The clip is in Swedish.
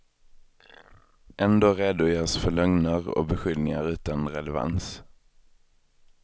Ändå redogörs för lögner och beskyllningar utan relevans.